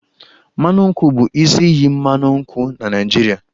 Mmanụ nkwụ bụ isi iyi mmanụ nkwụ na Naịjirịa